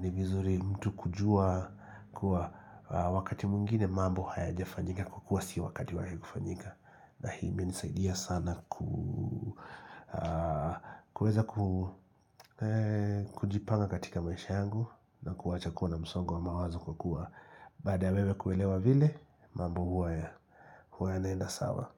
ni vizuri mtu kujua kuwa wakati mwingine mambo hayajafanyika kwa kuwa si wakati wake kufanyika. Na hii imenisaidia sana. Kuweza kujipanga katika maisha yangu na kuacha kuwa na msongo wa mawazo kwa kuwa Baada ya wewe kuelewa vile mambo huwa ya huwa yanaenda sawa.